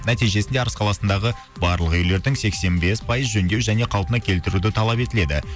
нәтижесінде арыс қаласындағы барлық үйлердің сексен бес пайыз жөндеу және қалпына келтіруді талап етіледі